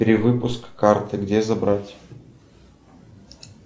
перевыпуск карты где забрать